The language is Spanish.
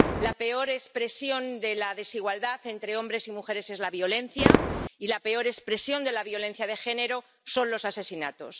La peor expresión de la desigualdad entre hombres y mujeres es la violencia y la peor expresión de la violencia de género son los asesinatos.